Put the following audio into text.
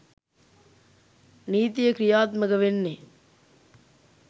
නීතිය ක්‍රියාත්මක වෙන්නේ.